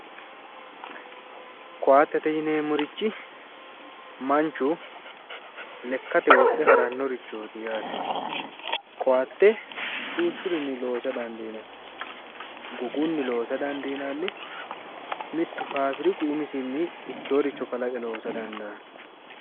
Koatette yineemorichi manchu lekatte wodhe haranorichoti yaate, koatte duuchurichinni loosa dandiinanni, gogunni loosa dandiinanni mittu fabiriku umisi ikoyoore kalaqe loosa dandaano.